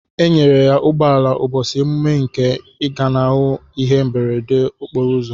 Enyere ya ugbọala ubosi emume nke igbanahu ihe mberede okporo ụzọ.